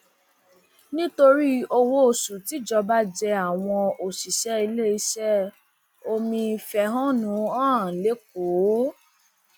nítorí owóoṣù tíjọba jẹ wọn àwọn òṣìṣẹ iléeṣẹ omi fẹhónú hàn lẹkọọ